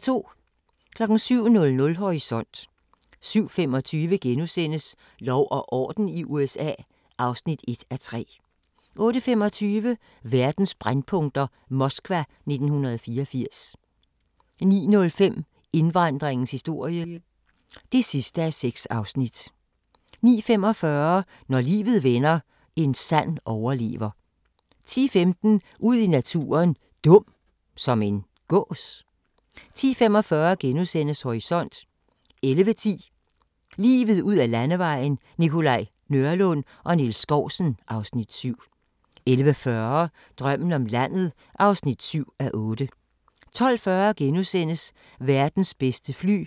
07:00: Horisont 07:25: Lov og orden i USA (1:3)* 08:25: Verdens brændpunkter: Moskva 1984 09:05: Indvandringens historie (6:6) 09:45: Når livet vender – en sand overlever 10:15: Ud i naturen: Dum – som en gås? 10:45: Horisont * 11:10: Livet ud ad Landevejen: Nikolaj Nørlund og Niels Skousen (Afs. 7) 11:40: Drømmen om landet (7:8) 12:40: Verdens bedste fly